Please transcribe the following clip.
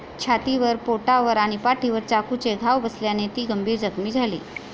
छातीवर, पोटावर आणि पाठीवर चाकूचे घाव बसल्याने ती गंभीर जखमी झाली.